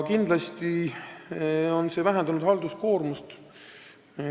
Kindlasti on see vähendanud halduskoormust.